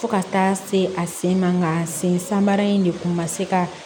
Fo ka taa se a sen ma sen sanbara in de kun ma se ka